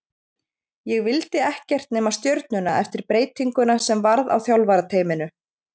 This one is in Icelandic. Ég vildi ekkert nema Stjörnuna eftir breytinguna sem varð á þjálfarateyminu.